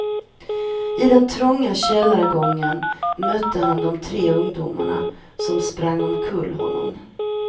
I den trånga källargången mötte han de tre ungdomarna som sprang omkull honom.